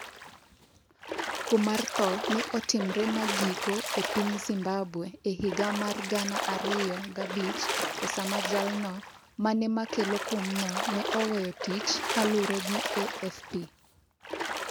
Kum mar tho ne otimre magiko e piny Zimbabwe e higa mar 2005, e sama jalno mane makelo kumno ne oweyo tich kaluwore gi AFP.